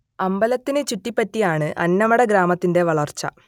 അമ്പലത്തിനെ ചുറ്റിപ്പറ്റിയാണു അന്നമട ഗ്രാമത്തിന്റെ വളർച്ച